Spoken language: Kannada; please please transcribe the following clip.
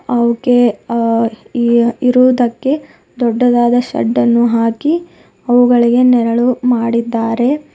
ಅವಕ್ಕೆ ಆ ಏ ಇರುವುದಕ್ಕೆ ದೊಡ್ಡದಾದ ಶೇಡ್ ಅನ್ನು ಹಾಕಿ ಅವುಗಳಿಗೆ ನೆರಳು ಮಾಡಿದ್ದಾರೆ.